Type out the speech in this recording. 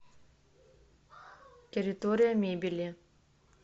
территория мебели